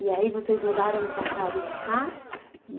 E aí vocês mudaram para casa de cá?